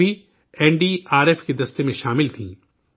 یہ سبھی N D R F کے دستہ میں شامل تھیں